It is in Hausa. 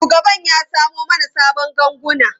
Shugaban ya samo mana sabon ganguna.